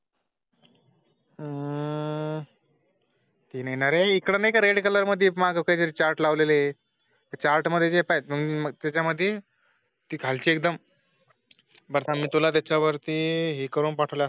हम्म टीन येणार आहे इकडे नाही का? रेड कलर मध्ये मगरी चार्ट लावला आहे चार्ट मध्ये मग त्याच्या मध्ये ती खालची एकदम. बरं मी तुला त्याच्यावरती ही करून पाठवले असते म्हणून